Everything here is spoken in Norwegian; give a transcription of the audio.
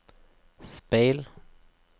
speil